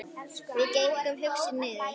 Við gengum hugsi niður